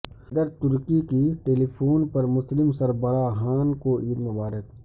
صدر ترکی کی ٹیلی فون پر مسلم سربراہان کو عید مبارک